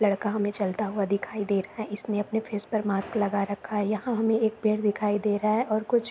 लड़का हमे चलता हुआ दिखाई दे रहा है। इसने अपने फेस पर मास्क लगा कर रखा है। यहाँ हमे एक पेड़ दिखाई दे रहा है और कुछ --